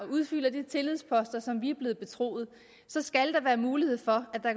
udfylder de tillidsposter som vi er blevet betroet så skal der være mulighed for at der